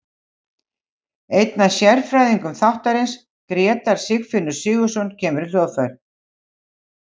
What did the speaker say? Einn af sérfræðingum þáttarins, Grétar Sigfinnur Sigurðarson, kemur í hljóðver.